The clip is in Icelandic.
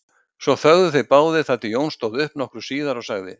Svo þögðu þeir báðir þar til Jón stóð upp nokkru síðar og sagði